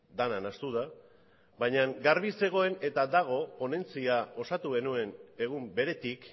dena nahastu da baina garbi zegoen eta dago ponentzia osatu genuen egun beretik